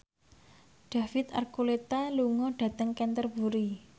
David Archuletta lunga dhateng Canterbury